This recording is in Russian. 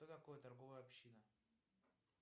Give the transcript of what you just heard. что такое торговая община